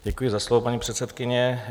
Děkuji za slovo, paní předsedkyně.